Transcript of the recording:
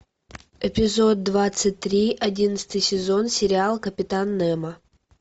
эпизод двадцать три одиннадцатый сезон сериал капитан немо